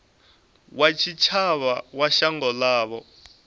wa tshitshavha wa shango ḽavho